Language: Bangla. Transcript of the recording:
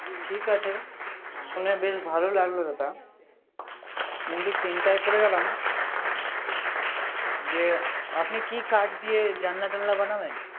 ঠিক আছে, শুনে বেশ ভালো লাগলো দাদা। আমি তো চিন্তায় পরে গেলাম। আপন কি কাঠ দিয়ে জানলা টানলা বানাবেন